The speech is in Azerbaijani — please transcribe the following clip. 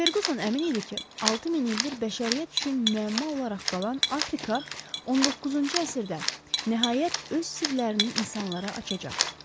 Ferquson əmin idi ki, 6000 ildir bəşəriyyət üçün müəmma olaraq qalan Afrika, 19-cu əsrdə nəhayət öz sirlərini insanlara açacaq.